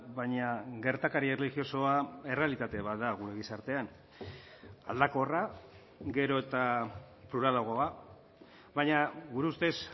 baina gertakari erlijiosoa errealitate bat da gure gizartean aldakorra gero eta pluralagoa baina gure ustez